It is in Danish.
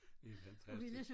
Det er fantastisk